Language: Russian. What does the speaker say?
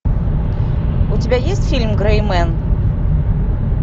у тебя есть фильм грэй мен